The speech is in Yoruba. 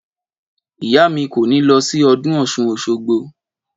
Ìyá mi kò ní lọ sí ọdún ọ̀ṣun òṣogbo